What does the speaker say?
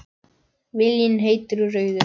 Viljinn heitur og rauður.